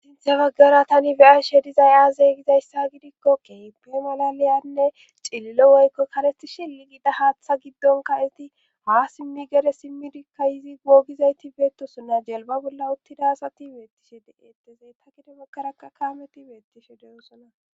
Sintze baggara tani beyashe dizayaazeygizayssa gidikko qeepe molaliyanne cillo woykko kaleti shilli gida haaththa giddonka izi ha simmi gere simmidikka izi googizayti beettosona jelba bolla uttida asati beettishe de7ettezey ta kidemokkarakka kaameti beettishe de7osona.